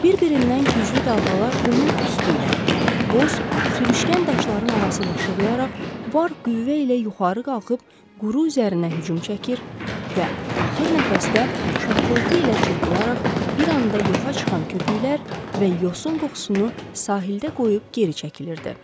Bir-birindən güclü dalğalar qumun üstü ilə, boz, sürüşkən daşların arası ilə şığıyaraq, var qüvvə ilə yuxarı qalxıb quru üzərinə hücum çəkir və axır nəfəsdə şappıltı ilə çırpılaraq bir anda yoxa çıxan köpüklər və yosun qoxusunu sahildə qoyub geri çəkilirdi.